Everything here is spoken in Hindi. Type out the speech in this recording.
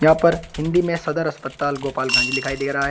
यहां पर हिंदी में सदर अस्पताल गोपालगंज दिखाई दे रहा है।